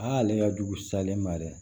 Aa ale ka jugu salen ma dɛ